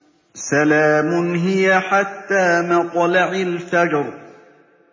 سَلَامٌ هِيَ حَتَّىٰ مَطْلَعِ الْفَجْرِ